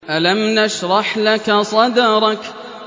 أَلَمْ نَشْرَحْ لَكَ صَدْرَكَ